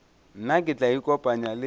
nna ke tla ikopanya le